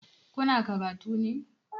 Kuna karatu ne?